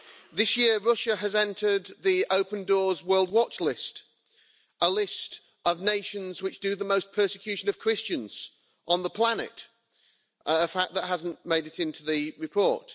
This year, Russia has entered the Open Doors World Watch List, a list of nations which do the most persecution of Christians on the planet, a fact that hasn't made it into the report.